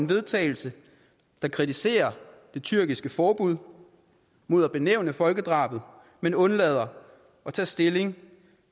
vedtagelse der kritiserer det tyrkiske forbud mod at benævne folkedrabet men undlader at tage stilling